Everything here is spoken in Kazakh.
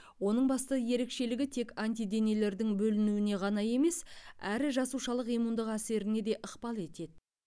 оның басты ерекшелігі тек антиденелердің бөлінуіне ғана емес әрі жасушалық иммундық әсеріне де ықпал етеді